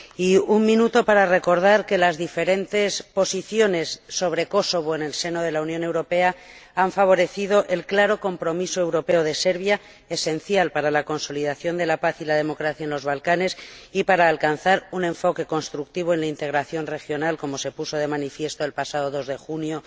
Y un minuto para recordar que las diferentes posiciones sobre Kosovo en el seno de la Unión Europea han favorecido el claro compromiso europeo de Serbia, esencial para la consolidación de la paz y la democracia en los Balcanes y para alcanzar un enfoque constructivo en la integración regional, como se puso de manifiesto el pasado 2 de junio